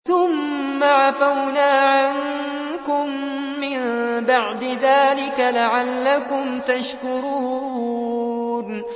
ثُمَّ عَفَوْنَا عَنكُم مِّن بَعْدِ ذَٰلِكَ لَعَلَّكُمْ تَشْكُرُونَ